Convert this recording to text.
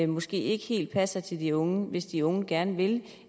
måske ikke helt passer til de unge hvis de unge gerne vil